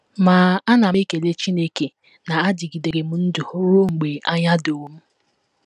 Ma, ana m ekele Chineke na adịgidere m ndụ ruo mgbe anya doro m.